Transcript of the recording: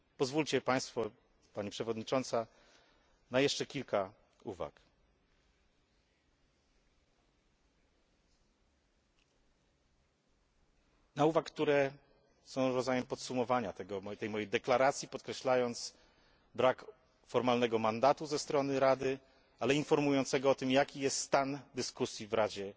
Pozwólcie Państwo, Pani Przewodnicząca na jeszcze kilka uwag, które są rodzajem podsumowania tej mojej deklaracji, podkreślającego brak formalnego mandatu ze strony Rady, ale informującego o tym, jaki jest stan dyskusji w Radzie